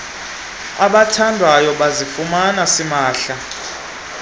abatyandwayo bazifumana simahla